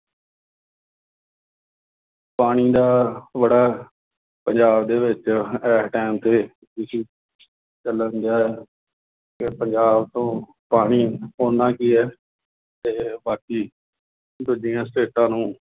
ਪਾਣੀ ਦਾ ਬੜਾ ਪੰਜਾਬ ਦੇ ਵਿੱਚ ਇਸ time ਤੇ issue ਚੱਲਣ ਡਿਆ ਹੈ। ਕਿ ਪੰਜਾਬ ਤੋਂ ਪਾਣੀ ਉੱਨਾ ਕੀ ਹੈ ਅਤੇ ਬਾਕੀ ਦੂਜੀਆਂ ਸਟੇਟਾਂ ਨੂੰ